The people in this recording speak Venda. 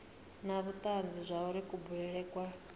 na vhutanzi zwauri kubulele kwa